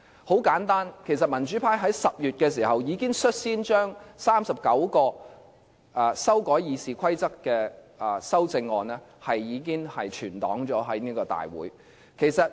很簡單，其實民主派在10月已經率先將39項修改《議事規則》的修正案存檔於大會。